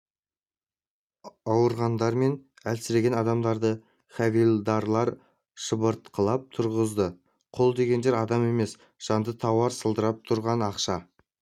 ауырғандар мен әлсіреген адамдарды хавильдарлар шыбыртқылап тұрғызды құл дегендер адам емес жанды тауар сылдырап тұрған ақша